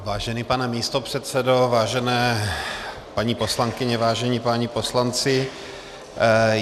Vážený pane místopředsedo, vážené paní poslankyně, vážení páni poslanci.